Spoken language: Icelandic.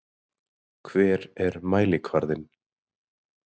Hver er mælikvarðinn?